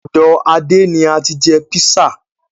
Ọ̀dọ Adé ni ati jẹ́ písà.